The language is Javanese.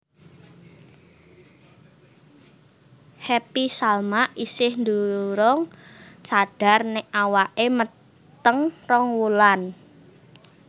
Happy Salma isih durung sadar nek awake meteng rong wulan